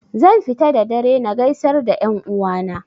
Zan fita da dare na gaisar da 'yan uwa na